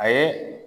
A ye